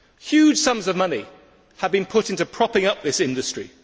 Huge sums of money have been put into propping up this industry.